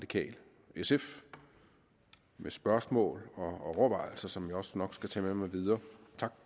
sf med spørgsmål og overvejelser som jeg også nok skal tage med mig videre tak